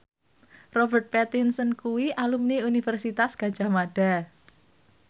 Robert Pattinson kuwi alumni Universitas Gadjah Mada